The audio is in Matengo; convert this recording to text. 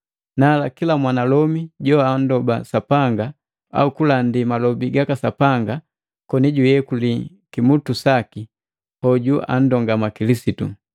Nala kila mwanalomi joanndoba Sapanga au kulandi malobi gaka Sapanga koni juyekali kimutu saki, hoju anndongama Kilisitu.